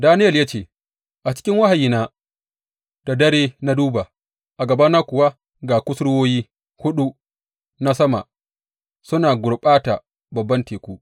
Daniyel ya ce, A cikin wahayina da dare na duba, a gabana kuwa ga kusurwoyi huɗu na sama suna gurɓata babban teku.